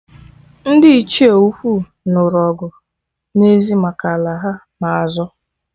Ndị Ichie ukwu nụrụ ọgụ n'ezi maka ala ha-na azọ